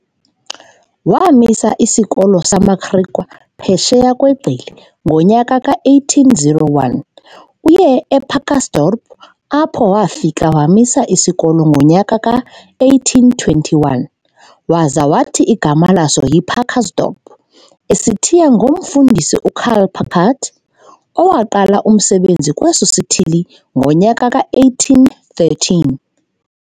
Waamisa isikolo samaGriqua phesheya kweGqili ngonyaka ka-1801, uye ePacaltsdorp apho wafika wamisa isikolo ngonyaka ka-1821, waza wathi igama laso yiPacaltsdorp, esithiya ngomFundisi uCarl Pacalt owaqala umsebenzi kweso sithili ngonyaka ka-1813.